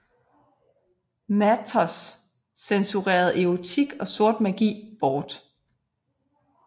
Mathers censurerede erotik og sort magi bort